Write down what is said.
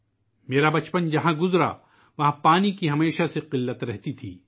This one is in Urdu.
جس جگہ میرا بچپن گزرا، وہاں ہمیشہ پانی کی قلت رہتی تھی